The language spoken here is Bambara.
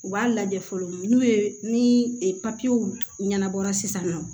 U b'a lajɛ fɔlɔ n'u ye ni ɲɛnabɔra sisan nɔ